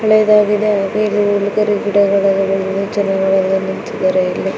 ಹಳೇದಾಗಿದೆ ಹಾಗೇನೇ ಇದು ಒಂದು ಕರಿಗಿಡಗಳಿವೆ ಜನಗಳೆಲ್ಲಾ ನಿಂತಿದಾರೆ ಇಲ್ಲಿ.